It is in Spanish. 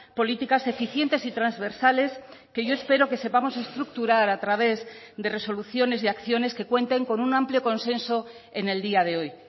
políticas eficientes y transversales que yo espero que sepamos estructurar a través de resoluciones y acciones que cuenten con un amplio consenso en el día de hoy